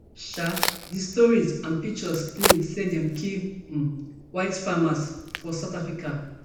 um di stories and pictures claim say dem kill um white farmers for south africa